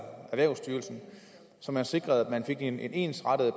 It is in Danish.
erhvervsstyrelsen så man sikrede at man fik en ensrettet